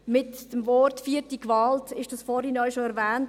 Mit dem Begriff «vierte Gewalt» wurde dies vorhin bereits erwähnt.